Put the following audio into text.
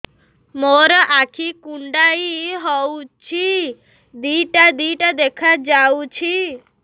ମୋର ଆଖି କୁଣ୍ଡାଇ ହଉଛି ଦିଇଟା ଦିଇଟା ଦେଖା ଯାଉଛି